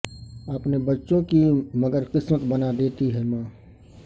اپنے بچوں کی مگر قسمت بنا دیتی ہے ماں